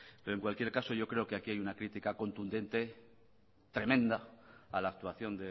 pero en cualquier caso yo creo que aquí hay una crítica contundente y tremenda a la actuación